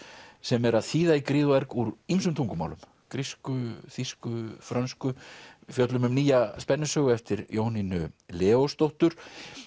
sem er að þýða í gríð og erg úr ýmsum tungumálum grísku þýsku frönsku við fjöllum um nýja spennusögu eftir Jónínu Leósdóttur